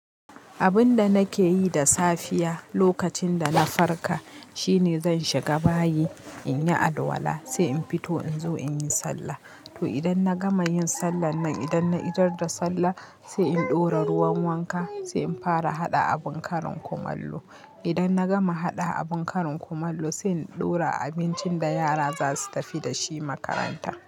Abun da nake yi da safiya lokacin da na farka shine zan shiga bayi in yi alwala, sai in fito in zo in yi sallah. To idan na gama yin sallar nan, idan na idar da sallah sai in ɗora ruwan wanka, sai in fara haɗa abin karin kumallo. Idan na gama haɗa abin karin kumallo sai in ɗora abincin da yara za su tafi da shi makaranta.